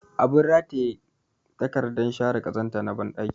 Abin rataye takardar share ƙazanta na banɗaki